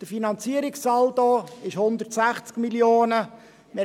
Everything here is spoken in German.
Der Finanzierungssaldo beträgt 160 Mio. Franken.